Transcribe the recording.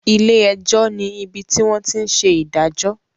Ilé-ẹjọ́ ní ibi tí wọ́n tí ń ṣe ìdájọ́.